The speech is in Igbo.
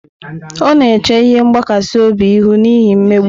Ọ na-eche ihe mgbakasị obi ihu n'ihi mmegbu.